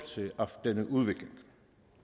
denne udvikling